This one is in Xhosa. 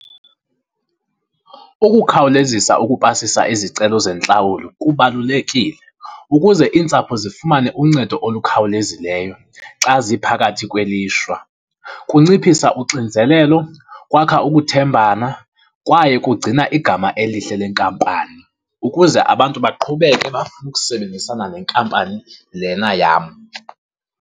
Ukukhawulezisa ukupasisa izicelo zentlawulo kubalulekile ukuze iintsapho zifumane uncedo olukhawulezileyo xa ziphakathi kwelishwa. Kunciphisa uxinzelelo, kwakha ukuthembana kwaye kugcina igama elihle le nkampani ukuze abantu baqhubeke bafune ukusebenzisana nenkampani lena yam.